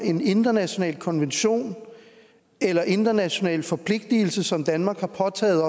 en international konvention eller international forpligtelse som danmark har påtaget